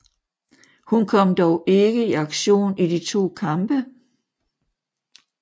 Hun kom dog ikke i aktion i de to kampe